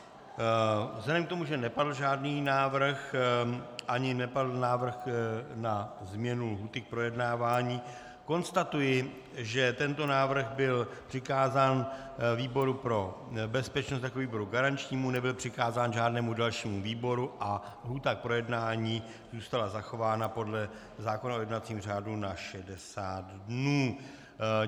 Vzhledem k tomu, že nepadl žádný návrh ani nepadl návrh na změnu lhůty k projednávání, konstatuji, že tento návrh byl přikázán výboru pro bezpečnost jako výboru garančnímu, nebyl přikázán žádnému dalšímu výboru a lhůta k projednání zůstala zachována podle zákona o jednacím řádu na 60 dnů.